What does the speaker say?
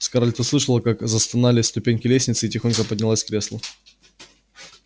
скарлетт услышала как застонали ступеньки лестницы и тихонько поднялась с кресла